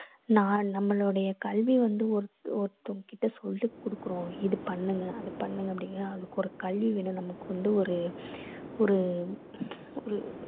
நா~ நம்மளுடய கல்வி வந்து ஒரு ஒருத்தவங்ககிட்ட சொல்லி குடுக்கறோம் இது பண்ணுங்க அது பண்ணுங்க அப்படீன்னா அதுக்கொரு கல்வி வேணும் நமக்கு வந்து ஒரு ஒரு உம் ஒரு